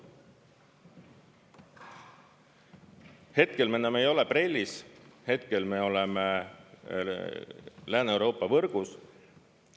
Hetkel me ei ole enam BRELL-is, hetkel me oleme Lääne-Euroopa võrgus.